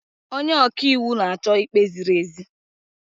Onye ọka iwu na-achọ ikpe ziri ezi.